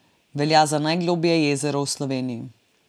Velja za najgloblje jezero v Sloveniji.